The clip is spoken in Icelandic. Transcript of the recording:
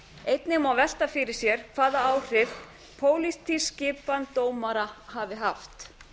einnig má velta fyrir sér hvaða áhrif pólitísk skipan dómara hafi haft